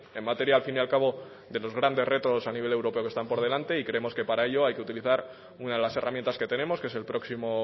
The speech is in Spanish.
en materia al fin y al cabo de los grandes retos a nivel europeo que están por delante y creemos que para ellos hay que utilizar una de las herramientas que tenemos que es el próximo